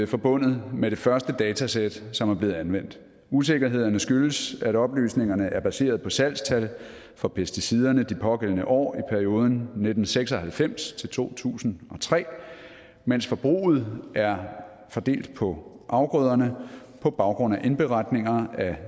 forbundet med det første datasæt som er blevet anvendt usikkerhederne skyldes at oplysningerne er baseret på salgstal for pesticiderne de pågældende år i perioden nitten seks og halvfems til to tusind og tre mens forbruget er fordelt på afgrøderne på baggrund af indberetninger af